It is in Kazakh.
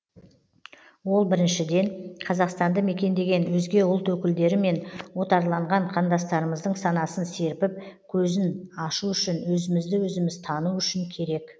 ол біріншіден қазақстанды мекендеген өзге ұлт өкілдері мен отарланған қандастарымыздың санасын серпіп көзін ашу үшін өзімізді өзіміз тану үшін керек